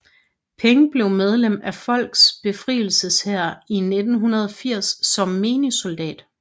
Peng blev medlem af Folkets Befrielseshær i 1980 som menig soldat